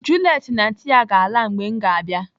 Juliet na anti ya ga-ala mgbe m ga-abịa.